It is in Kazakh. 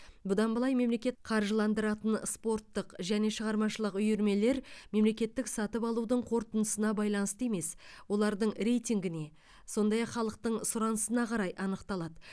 бұдан былай мемлекет қаржыландыратын спорттық және шығармашылық үйірмелер мемлекеттік сатып алудың қорытындысына байланысты емес олардың рейтингіне сондай ақ халықтың сұранысына қарай анықталады